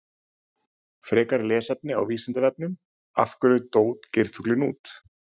Frekara lesefni á Vísindavefnum: Af hverju dó geirfuglinn út?